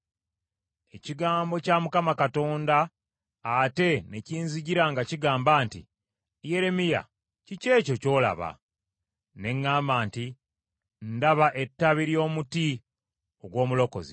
Ekigambo kya Mukama Katonda ate ne kinzijira nga kigamba nti, “Yeremiya kiki ekyo ky’olaba?” Ne ŋŋamba nti, “Ndaba ettabi ly’omuti ogw’omulozi.”